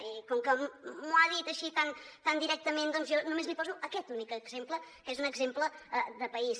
i com que m’ho ha dit així tan directament doncs jo només li poso aquest únic exemple que és un exemple de país